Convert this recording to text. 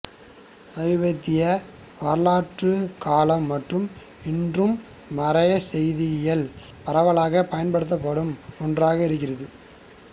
சமீபத்திய வரலாற்று காலம் மற்றும் இன்றும் மறைசெய்தியியல் பரவலாகப் பயன்படுத்தப்படும் ஒன்றாக இருக்கிறது